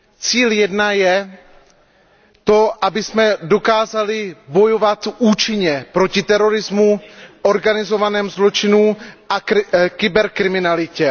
Cíl jedna je to, abychom dokázali bojovat účinně proti terorismu, organizovanému zločinu a kyberkriminalitě.